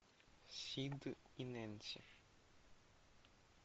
сид и нэнси